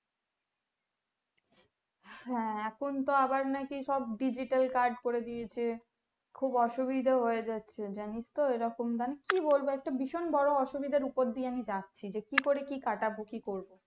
হ্যাঁ এখন তো আবার নাকি সব digital card করে দিয়েছে খুব অসুবিধা হয়ে যাচ্ছে জানিস তো এরকম দান কি বলবো একটা ভীষণ বড়ো অসুবিধার উপর দিয়ে আমি যাচ্ছি